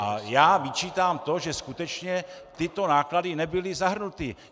A já vyčítám to, že skutečně tyto náklady nebyly zahrnuty.